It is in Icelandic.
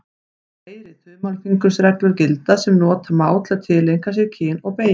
Fleiri þumalfingursreglur gilda sem nota má til að tileinka sér kyn og beygingu.